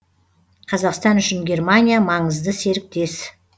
қазақстан үшін германия маңызды серіктес